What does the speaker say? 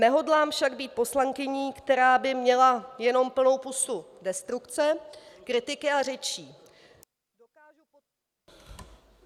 Nehodlám však být poslankyní, která by měla jenom plnou pusu destrukce, kritiky a řečí.